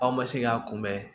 Aw ma se k'a kunbɛ